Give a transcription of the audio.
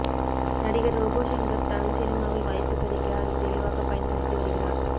நடிகர் ரோபோ ஷங்கர் தமிழ் சினிமாவில் வாய்ப்பு கிடைக்க அதை தெளிவாக பயன்படுத்தி வருகிறார்